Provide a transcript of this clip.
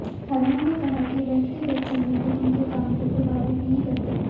हरमन ने कहा कि व्यक्तिगत संबंध उनके काम को प्रभावित नहीं करते